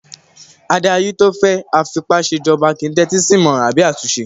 Adarí tó jẹ́ afipásèjọba kìí n tẹ́tí sí ìmọràn àbí àtúnṣe